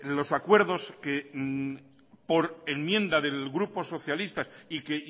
los acuerdos por enmienda del grupo socialista y que